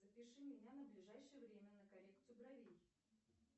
запиши меня на ближайшее время на коррекцию бровей